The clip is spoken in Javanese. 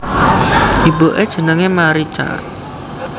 Ibuke jenenge Marica